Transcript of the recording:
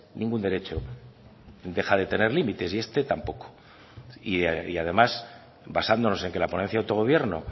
ningún derecho deja de tener límites y este tampoco y además basándonos en que la ponencia de autogobierno